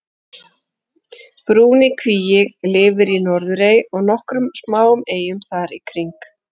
brúni kíví lifir á norðurey og nokkrum smáum eyjum þar í kring